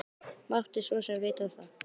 Mátti svo sem vita það.